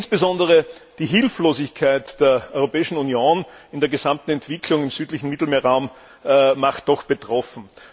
Insbesondere die Hilflosigkeit der Europäischen Union angesichts der gesamten Entwicklung im südlichen Mittelmeerraum macht doch betroffen.